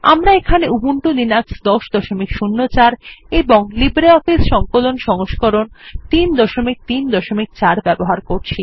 আমরা এখানে Ubuntu Linux ১০০৪ এবং লিব্রিঅফিস সংকলন সংস্করণ ৩৩৪ ব্যবহার করছি